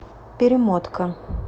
перемотка